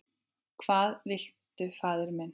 Hvað viltu faðir minn?